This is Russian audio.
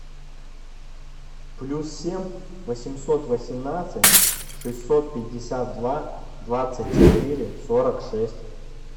плюс семь восемьсот восемнадцать шестьсот пятьдесят два двадцать четыре сорок шесть